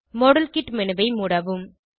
model kit menu ஐ மூடவும்